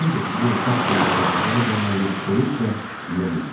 Ancaq bu otaq balaca, yarıqaranlıq, soyuq və nəm idi.